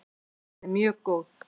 Hún er mjög góð!